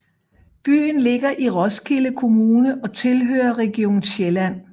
Byen ligger i Roskilde Kommune og tilhører Region Sjælland